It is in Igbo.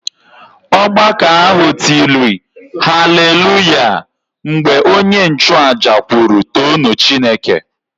Ọgbakọ ahụ tịrị Hallelujah! mgbe onye nchuaja kwuru too nụ Chineke